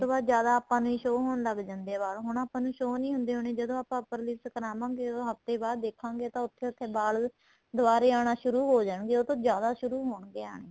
ਉਹਤੋ ਬਾਅਦ ਜ਼ਿਆਦਾ ਆਪਾਂ ਨੂੰ show ਹੋਣ ਲੱਗ ਜਾਂਦੇ ਏ ਵਾਲ ਹੁਣ ਆਪਾਂ ਨੂੰ show ਨਹੀਂ ਹੁੰਦੇ ਹੋਣੇ ਜਦੋਂ ਆਪਾਂ upper lips ਕਰਾਵਾਗੇ ਉਹਦੋ ਹੱਫਤੇ ਬਾਅਦ ਦੇਖਾਗੇ ਤਾਂ ਉੱਥੇ ਉੱਥੇ ਵਾਲ ਦੁਆਰੇ ਆਨਾ ਸ਼ੁਰੂ ਹੋ ਜਾਣਗੇ ਉਹ ਤੋ ਜਿਆਦਾ ਸ਼ੁਰੂ ਹੋਣਗੇ ਆਣੇ